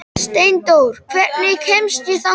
Steindór, hvernig kemst ég þangað?